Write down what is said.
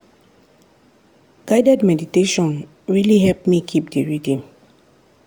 guided meditation really help me keep the rhythm.